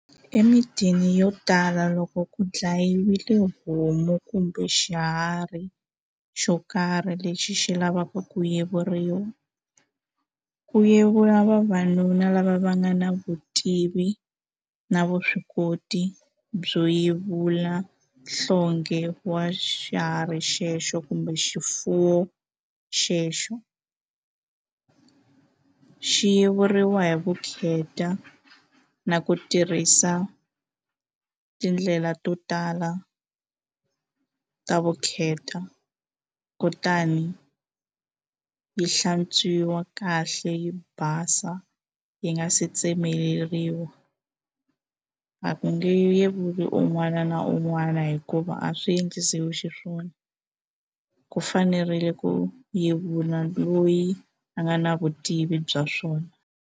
Emintini yo tala loko ku dlayiwile homu kumbe xiharhi xo karhi lexi xi lavaku ku yiveriwa ku yevula vavanuna lava va nga na vutivi na vuswikoti byo yevula nhlonghe wa xiharhi xexo kumbe xifuwo xexo xi yevuriwa hi vukheta na ku tirhisa tindlela to tala ta vukheta kutani yi hlantswiwa kahle yi basa yi nga se tsemeleriwa a ku nge yevuli un'wana na un'wana hikuva a swi endlisiwi xiswona ku fanerile ku yevula loyi a nga na vutivi bya swona.